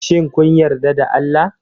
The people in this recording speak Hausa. Shin kun yarda da Allah?